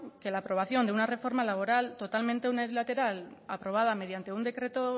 que la aprobación de una reforma laboral totalmente unilateral aprobada mediante un decreto